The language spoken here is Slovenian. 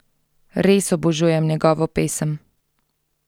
Res obožujem njegovo pesem!